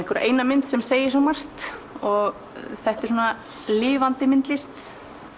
eina mynd sem segir svo margt og þetta er svona lifandi myndlist